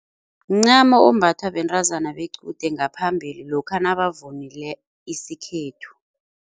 Mncamo ombathwa bentazana bequde ngaphambili lokha nabavunule isikhethu.